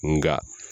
Nga